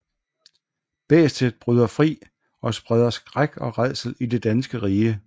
Bæstet bryder fri og spreder skræk og rædsel i det danske rige